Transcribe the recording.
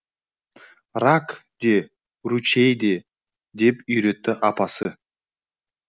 рак де ручей де деп үйретті апасы